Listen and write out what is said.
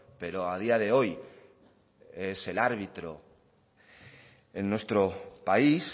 pero a día de hoy es el árbitro en nuestro país